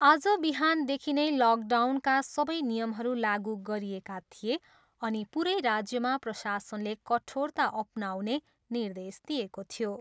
आज बिहानदेखि नै लकडाउनका सबै नियमहरू लागु गरिएका थिए अनि पुरै राज्यमा प्रशासनले कठोरता अपनाउने निर्देश दिएको थियो।